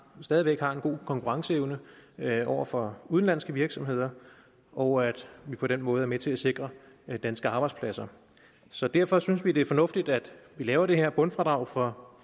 stadig væk har en god konkurrenceevne over for udenlandske virksomheder og at vi på den måde er med til at sikre danske arbejdspladser så derfor synes vi det er fornuftigt at vi laver det her bundfradrag for